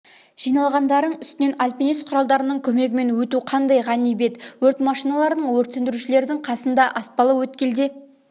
жиналғандарың үстінен альпинист құралдарының көмегімен өту қандай ғанибет өрт машиналарының өрт сөндірушілердің қасында аспалы өткелде